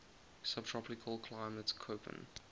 subtropical climate koppen